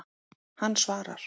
Hann svarar.